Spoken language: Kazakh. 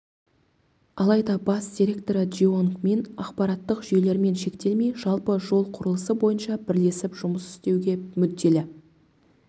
алайда бас директоры джеонг мин ақпараттық жүйелермен шектелмей жалпы жол құрылысы бойынша бірлесіп жұмыс істеуге мүдделі